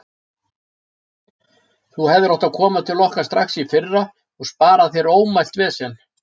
Þú hefðir átt að koma til okkar strax í fyrra og spara þér ómælt vesen.